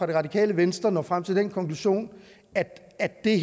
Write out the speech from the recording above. det radikale venstre når frem til den konklusion at det